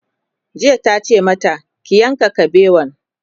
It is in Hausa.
jiya tace mata "ki yanka kabewan!'